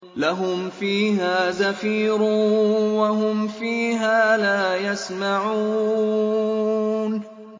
لَهُمْ فِيهَا زَفِيرٌ وَهُمْ فِيهَا لَا يَسْمَعُونَ